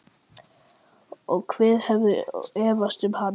Og hver hefur efast um hann?